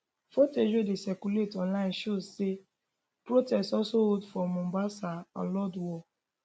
footage wey dey circulate online show say protest also hold for mombasa and lodwar